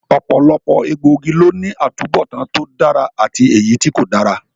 Ọ̀pọ̀lọpọ̀ egbòogi ló ní atubọtan tí ó dára àti èyítí kò dára